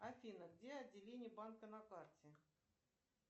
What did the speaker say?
афина где отделение банка на карте